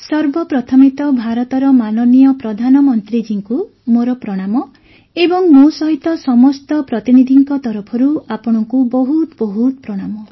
ସର୍ବପ୍ରଥମେ ତ ଭାରତର ମାନନୀୟ ପ୍ରଧାନମନ୍ତ୍ରୀ ଜୀଙ୍କୁ ମୋର ପ୍ରଣାମ ଏବଂ ମୋ ସହିତ ସମସ୍ତ ପ୍ରତିନିଧିଙ୍କ ତରଫରୁ ଆପଣଙ୍କୁ ବହୁତ ବହୁତ ପ୍ରଣାମ